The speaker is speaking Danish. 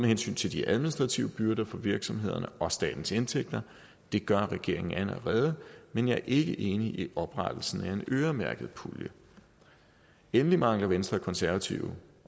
hensyn til de administrative byrder for virksomhederne og statens indtægter det gør regeringen allerede men jeg er ikke enig i oprettelsen af en øremærket pulje endelig mangler venstre og konservative